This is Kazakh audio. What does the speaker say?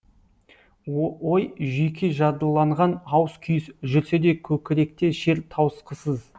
ой жүйке жадыланған ауыс күйіс жүрсе де көкіректе шер тауысқысыз